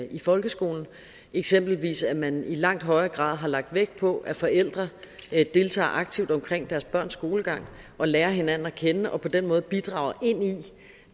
i folkeskolen eksempelvis at man i langt højere grad har lagt vægt på at forældre deltager aktivt omkring deres børns skolegang og lærer hinanden at kende og på den måde bidrager ind i